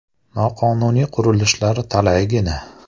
Noqonuniy qurilishlar talaygina.